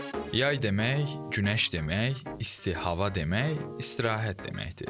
Yay demək, günəş demək, isti hava demək, istirahət deməkdir.